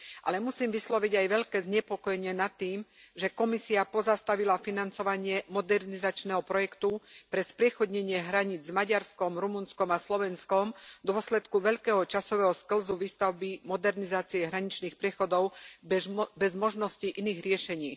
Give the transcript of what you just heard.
Ale musím vysloviť aj veľké znepokojenie nad tým, že Komisia pozastavila financovanie modernizačného projektu pre spriechodnenie hraníc s Maďarskom, Rumunskom a Slovenskom v dôsledku veľkého časového sklzu výstavby modernizácie hraničných priechodov bez možnosti iných riešení.